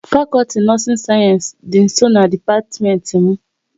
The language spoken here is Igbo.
Fakọlti nọọsin sayensị dị nsọ na dipatiment m